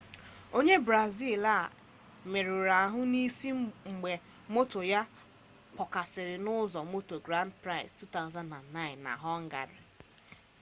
onye brazil a merụrụ ahụ n'isi mgbe moto ya kpọkasịrị n'ọsọ moto grand prix 2009 na họngarị